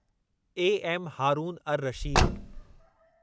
A M Haroon ar Rashid